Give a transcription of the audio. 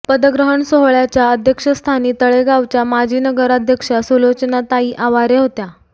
पदग्रहण सोहळ्याच्या अध्यक्षस्थानी तळेगावच्या माजी नगराध्यक्षा सुलोचनाताई आवारे होत्या